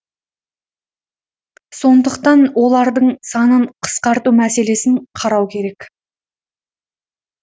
сондықтан олардың санын қысқарту мәселесін қарау керек